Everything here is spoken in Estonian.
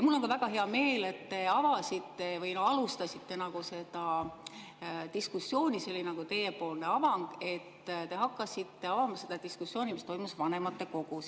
Mul on ka väga hea meel, et te avasite diskussiooni, see oli nagu teie poolt avang, või te hakkasite avama seda diskussiooni, mis toimus vanematekogus.